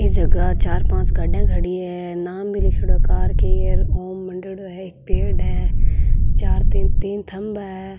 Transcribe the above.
ये जगह चार पांच गाड़ी खड़ी है नाम भी लिखडॉ है कार की ओम मनैड़ो है एक पेड़ है चार तीन तीन खम्भा है।